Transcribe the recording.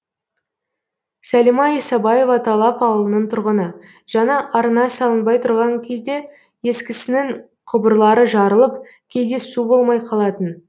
сәлима исабаева талап ауылының тұрғыны жаңа арна салынбай тұрған кезде ескісінің құбырлары жарылып кейде су болмай қалатын